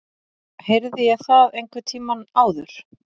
Heyrði ég það einhvern tíma áður?